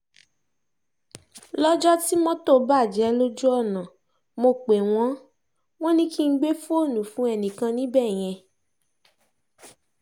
lọ́jọ́ tí mọ́tò bàjẹ́ lójú ọ̀nà mọ̀ pé wọ́n wọ́n ní kí n gbé fóònù fún ẹnìkan níbẹ̀ yẹn